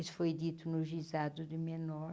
Isso foi dito no juizado de Menor.